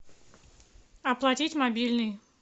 оплатить мобильный